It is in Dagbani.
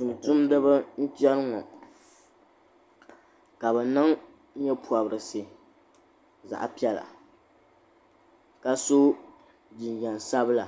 Tumtumdiba m biɛni ŋɔ ka bɛ niŋ nyɛ'pobrisi zaɣa piɛlla ka so jinjiɛm sabila